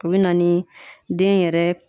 O bɛ na ni den yɛrɛ